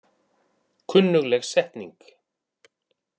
Kunnugleg setning.